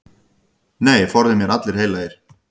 Nei, forði mér allir heilagir.